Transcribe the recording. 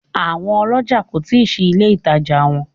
Àwọn olójà kò tí ì ṣí ilé ìtajà wọn